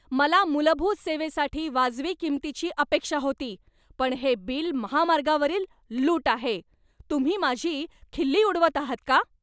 मला मूलभूत सेवेसाठी वाजवी किंमतीची अपेक्षा होती, पण हे बिल महामार्गावरील लूट आहे! तुम्ही माझी खिल्ली उडवत आहात का?